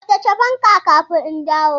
Tsaftace fanka kafin in dawo!